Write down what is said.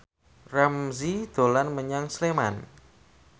Ramzy dolan menyang Sleman